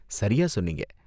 சரியா சொன்னீங்க.